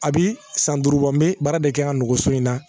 A bi san duuru bɔ n bɛ baara de kɛ ka n nɔgɔ so in na